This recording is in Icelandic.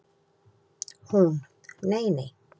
Hún: Nei nei.